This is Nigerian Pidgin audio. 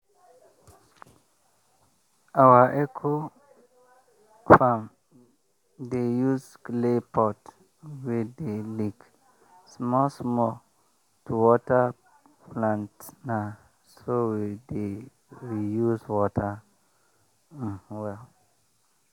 our eco-farm dey use clay pot wey dey leak small small to water plantna so we dey reuse water um well.